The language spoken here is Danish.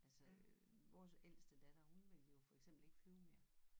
Altså øh vores ældste datter hun vil jo for eksempel ikke flyve mere